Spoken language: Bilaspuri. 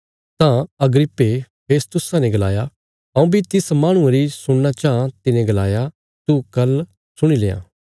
तां अग्रिप्पे फेस्तुसा ने गलाया हऊँ बी तिस माहणुये री सुणना चाँह तिने गलाया तू कल सुणी लेयां